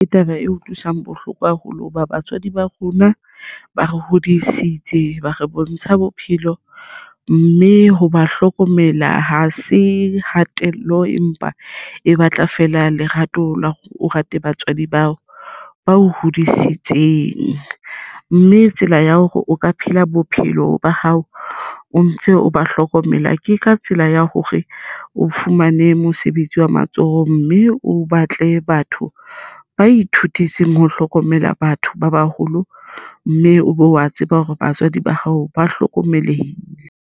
Ke taba e utlwisang bohloko haholo hoba batswadi ba rona ba re hodisitse ba re bontsha bophelo mme ho ba hlokomela ha se hatello empa e batla fela lerato la o rate batswadi bao bao hodisitseng mme e tsela ya hore o ka phela bophelo ba hao o ntse o ba hlokomela. Ke ka tsela ya hore o fumane mosebetsi wa matsoho mme o batle batho ba ithutetseng ho hlokomela batho ba baholo mme e be wa tseba hore batswadi ba hao ba hlokomelehile.